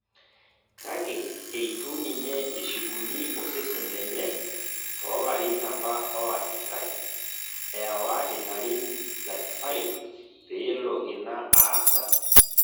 kake eitu ninye eshukuni osesen lenye tolarin apa oanyitae , ewa ilarin 35 peelo ina aasa